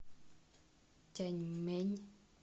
тяньмэнь